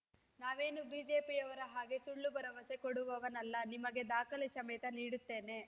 ನಾವೇನು ಬಿಜೆಪಿಯವರ ಹಾಗೇ ಸುಳ್ಳು ಭರವಸೆ ಕೊಡುವವನಲ್ಲ ನಿಮಗೆ ದಾಖಲೆ ಸಮೇತ ನೀಡುತ್ತೇನೆ